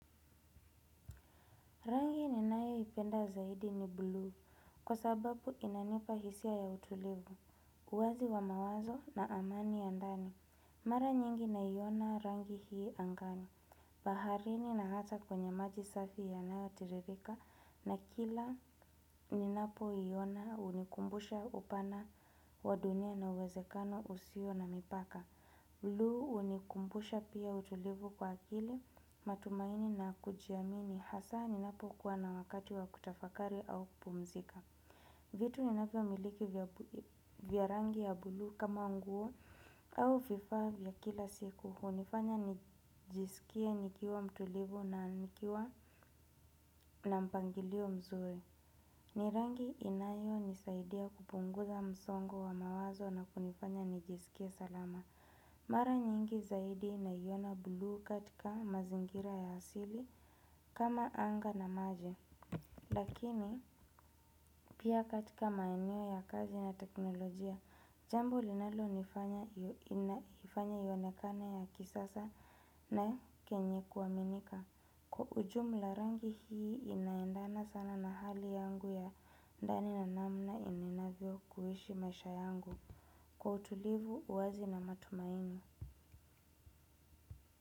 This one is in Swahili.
Rangi ninayoipenda zaidi ni blue, kwa sababu inanipa hisia ya utulivu, uwazi wa mawazo na amani ya ndani. Mara nyingi naiona rangi hii angani. Baharini na hata kwenye maji safi yanayotiririka na kila ninapoiona hunikumbusha upana wa dunia na uwezekano usio na mipaka. Blue hunikumbusha pia utulivu kwa akili, matumaini na kujiamini, hasa ninapokuwa na wakati wa kutafakari au kupumzika. Vitu ninavyomiliki vya rangi ya blue kama nguo au vifaa vya kila siku hunifanya nijisikie nikiwa mtulivu na nikiwa na mpangilio mzuri. Ni rangi inayonisaidia kupunguza msongo wa mawazo na kunifanya nijisikie salama. Mara nyingi zaidi naiona buluu katika mazingira ya asili, kama anga na maji. Lakini pia katika maeneo ya kazi na teknolojia. Jambo linalonifanya ionekane ya kisasa na kenye kuaminika. Kwa ujumla rangi hii inaendana sana na hali yangu ya ndani na namna ninavyo kuishi maisha yangu kwa utulivu, uwazi na matumaini.